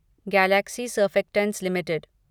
Galaxy Surfactants limited